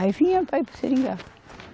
Aí vinha para ir para o Seringal.